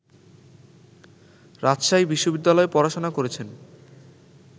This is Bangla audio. রাজশাহী বিশ্ববিদ্যালয়ে পড়াশোনা করেছেন